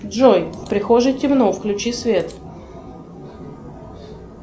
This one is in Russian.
джой в прихожей темно включи свет